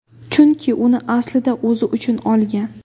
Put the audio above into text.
Chunki uni aslida o‘zi uchun olgan.